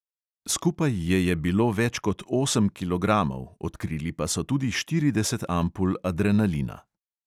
Skupaj je je bilo več kot osem kilogramov, odkrili pa so tudi štirideset ampul adrenalina.